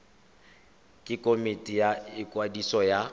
ke komiti ya ikwadiso ya